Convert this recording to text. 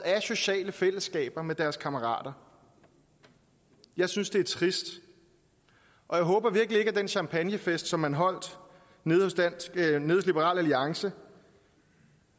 sociale fællesskaber med deres kammerater jeg synes det er trist og jeg håber virkelig ikke at den champagnefest som man holdt hos liberal alliance